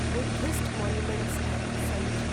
Buddhist monuments at Sanchi